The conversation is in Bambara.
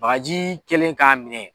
Bagaji kɛlen k'a minɛ.